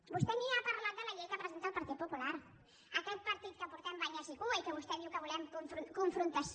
vostè ni ha parlat de la llei que presenta el partit popular aquest partit que portem banyes i cua i que vostè diu que volem confrontació